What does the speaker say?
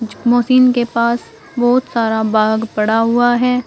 Machine के पास बहुत सारा बाग पड़ा हुआ है।